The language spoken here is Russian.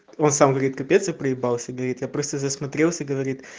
он сам говорит капец я проибрался говорит я просто засмотрелся говорит